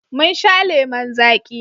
Mun sha lemon zaƙi.